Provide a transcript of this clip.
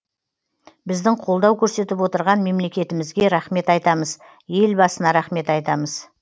біздің қолдау көрсетіп отырған мемлекетімізге рахмет айтамыз елбасына рахмет айтамыз